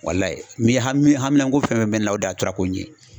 ni hami haminako fɛn fɛn bɛ ne na o dan ye tura ko in ye.